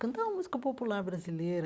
Cantava música popular brasileira,